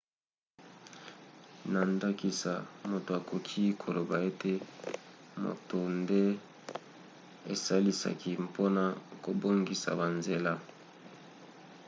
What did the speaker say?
na ndakisa moto akoki koloba ete moto nde esalisaki mpona kobongisa banzela